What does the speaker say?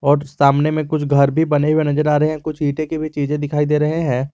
और सामने में कुछ घर भी बने हुए नजर आ रहे हैं कुछ ईंटे की भी चीजें दिखाई दे रहे हैं।